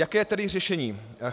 Jaké je tedy řešení?